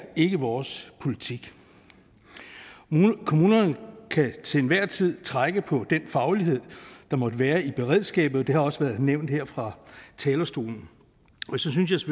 ikke vores politik kommunerne kan til enhver tid trække på den faglighed der måtte være i beredskabet og det har også været nævnt her fra talerstolen og så synes